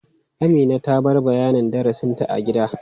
Amina ta bar bayanin darasinta a gida.